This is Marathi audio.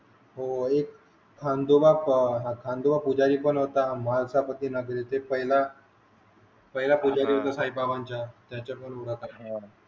हो आणि खंडोवा पुजारी पण होता भांसा प्रती णा भेटे पहिला पहिला पुजारी होता साई बाबांचा त्यांच्या पण मुलाखती